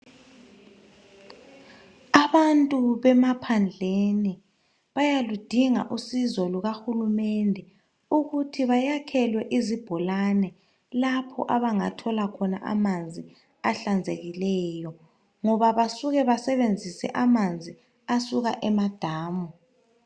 Abantu bemaphandleni bayaludinga usizo lukahulumende ukuthi bayakhelwe izibholane lapho abangathola khona amanzi ahlanzekileyo, ngoba basuke basebenzise amanzi asuka emadamu.